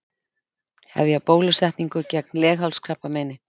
Hefja bólusetningu gegn leghálskrabbameini